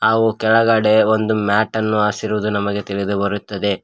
ಹಾಗೂ ಕೆಳಗಡೆ ಒಂದು ಮ್ಯಾಟ್ ಅನ್ನು ಹಾಸಿರುವುದು ನಮಗೆ ತಿಳಿದು ಬರುತ್ತದೆ.